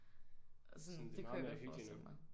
Og sådan det kunne jeg godt forestille mig